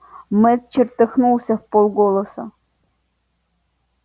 мэтт чертыхнулся вполголоса